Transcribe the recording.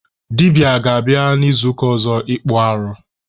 Dibịa ga-abịa n'izuụka ọzọ ịkpụ arụ.